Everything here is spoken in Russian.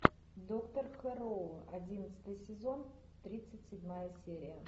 доктор хэрроу одиннадцатый сезон тридцать седьмая серия